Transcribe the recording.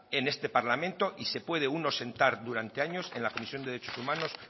en este parlamento y se puede uno sentar durante años en la comisión de derechos humanos